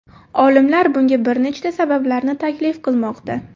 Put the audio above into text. Olimlar bunga bir nechta sabablarni taklif qilmoqda.